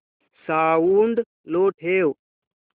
sound low ठेव